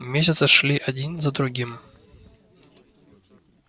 месяцы шли один за другим